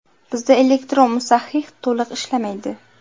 Bizda elektron musahhih to‘liq ishlamaydi.